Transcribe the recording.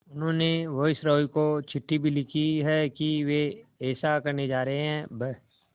उन्होंने वायसरॉय को चिट्ठी भी लिखी है कि वे ऐसा करने जा रहे हैं ब्